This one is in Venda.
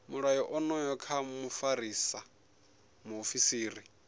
mulayo onoyu kha mufarisa muofisiri